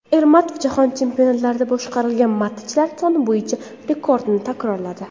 Ermatov jahon chempionatlarida boshqarilgan matchlar soni bo‘yicha rekordni takrorladi.